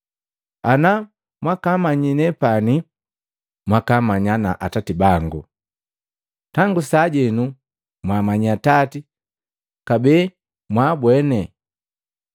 Ana mwakamanyi nepani, mwakaamanya na Atati bangu. Tangu sajenu mwaamanyi Atati kabee mwaambweni.”